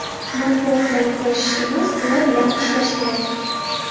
Matbuot bilan kurashish emas, ular bilan ishlash kerak.